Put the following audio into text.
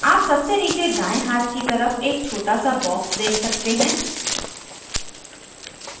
आप सबसे नीचे दायें हाथ की तरफ एक छोटा सा box देख सकते हैं